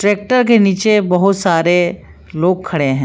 Tractor के नीचे बहुत सारे लोग खड़े हैं।